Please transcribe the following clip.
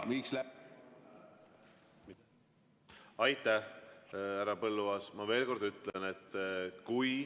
Aitäh, härra Põlluaas!